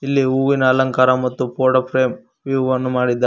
ಇಲ್ಲಿ ಹೂವಿನ ಅಲಂಕಾರ ಮತ್ತು ಫೋಟೋ ಫ್ರೇಮ್ ವಿವ್ ಅನ್ನು ಮಾಡಿದ್ದಾ--